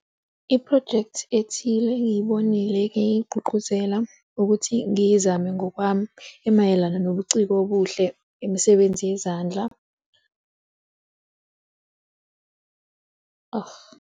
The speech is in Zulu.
Iphrojekthi ethile engiyibonile engiy'gqugquzela ukuthi ngiyizame ngokwami imayelana nobuciko obuhle yemisebenzi yezandla argh.